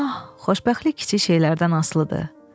Ah, xoşbəxtlik kiçik şeylərdən asılıdır.